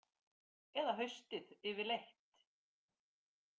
Eða haustið yfirleitt.